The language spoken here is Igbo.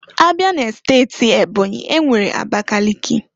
Abịa n'steti Ebonyi, enwere Abakaliki.